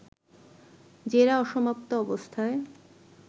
জেরা অসমাপ্ত অবস্থায়